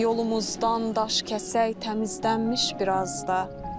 Yolumuzdan daş kəsək təmizlənmiş biraz da.